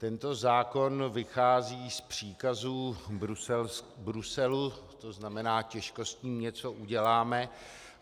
Tento zákon vychází z příkazů Bruselu, což znamená, těžko s tím něco uděláme.